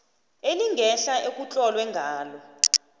elingehla ekutlolwe ngalo